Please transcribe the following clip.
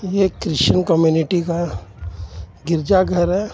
यह Christian community का गिरजाघर है.